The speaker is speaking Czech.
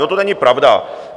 No, to není pravda.